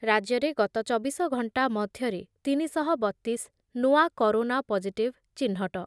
ରାଜ୍ୟରେ ଗତ ଚବିଶ ଘଣ୍ଟା ମଧ୍ୟରେ ତିନି ଶହ ବତିଶ ନୂଆ କରୋନା ପଜିଟିଭ୍ ଚିହ୍ନଟ ।